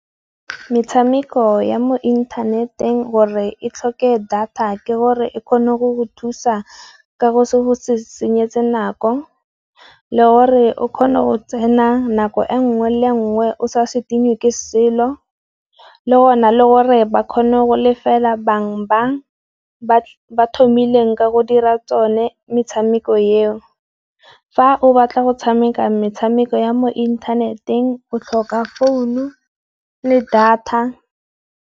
Metshameko ya mo inthaneteng gore e tlhoke data ke gore e kgone go go thusa ka go se go se senyetsa nako, le gore o kgone go tsena nako e nngwe le e nngwe o sa sekinyiwe ke selo, le gona le gore ba kgone go lefela bang ba thomileng ka go dira tsone metshameko eo. Fa o batla go tshameka metshameko ya mo inthaneteng o tlhoka founu le data.